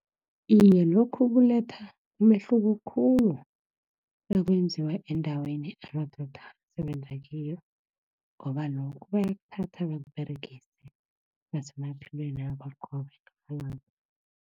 Iye, lokhu kuletha umehluko khulu nakwenziwa endaweni amadoda asebenza kiyo, ngoba lokhu bayakuthatha bakuberegise, bese qobe ngamalanga.